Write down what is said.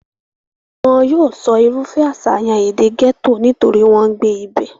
wọn yóò sọ irúfẹ́ àṣàyàn èdè gẹ́tò nítorí wọ́n ń gbé ibẹ̀